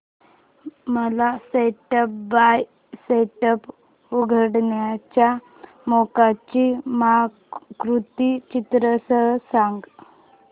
मला step by step उकडीच्या मोदकांची पाककृती चित्रांसह सांग